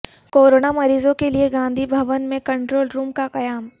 corona مریضوں کیلئے گاندھی بھون میں کنٹرول روم کا قیام